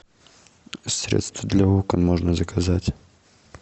средство для окон можно заказать